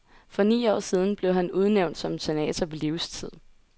For ni år siden blev han udnævnt som senator på livstid.